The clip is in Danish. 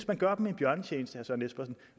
man gør dem en bjørnetjeneste